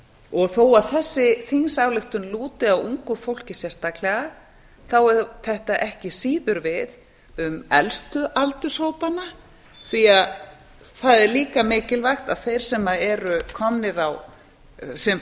og þó að þessi þingsályktun lúti að ungu fólki sérstaklega þá á þetta ekki síður við um elstu aldurshópana því það er líka mikilvægt að þeim sem